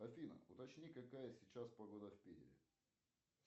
афина уточни какая сейчас погода в питере